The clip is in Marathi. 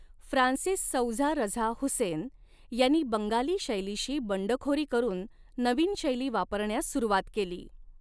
फ्रान्सिस सौझा रझा हुसेन यांनी बंगाली शैलीशी बंडखोरी करून नवीन शैली वापरण्यास सुरूवात केली.